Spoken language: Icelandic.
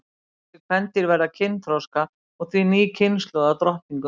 Þessi kvendýr verða kynþroska og því ný kynslóð af drottningum.